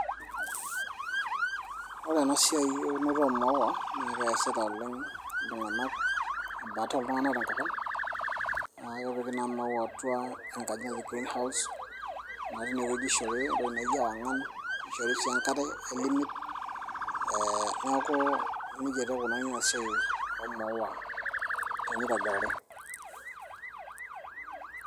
ore ena siai eunoto oomauwa naakeesita oleng' iltung'anak, ebata ooltung'anak te nkop ang'.naa kepiki naa maua atua enkaji nanji greehouse ,naa tine wueji ishori entoki naijo enkare, keishori sii ewang'an, ee neeku nejia taa ikunari ena siai oo maawa teneitobirari.